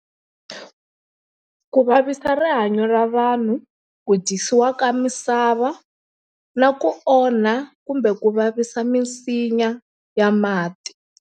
Ku vavisa rihanyo ra vanhu, ku dyisiwa ka misava na ku onha kumbe ku vavisa misinya ya mati.